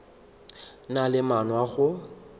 na le maano a go